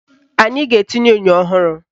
Anyị ga-etinye enyo ọhụrụ